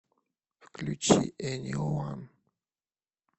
включи эниуан